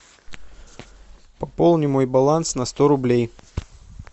пополни мой баланс на сто рублей